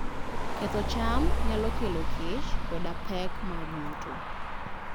Ketho cham nyalo kelo kech koda pek mag yuto.